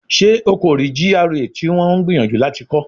Ṣe o ko rii GRA ti wọn n gbiyanju lati kọ?